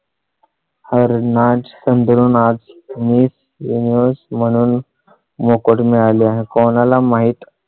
हर नाझ संधू नाझ आज मी म्हणून मोकळ हे कोणा ला माहित?